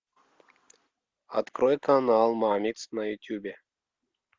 открой канал мамикс на ютубе